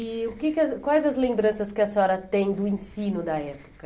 E o que quais as lembranças que a senhora tem do ensino da época?